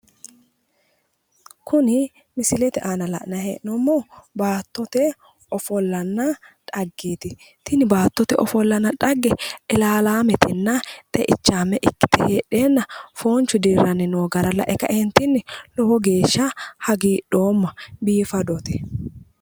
Kuni misilete aana la'nayi hee'noommohu baattote ofollanna xaggeeti. tini baattote xagge ilaalaametenna xeichaame ikkite heedheenna foonchu dirranni noo gara lae kaeentinni lowo geeshsha hagiidhoomma biifadote.